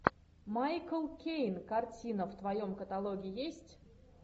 майкл кейн картина в твоем каталоге есть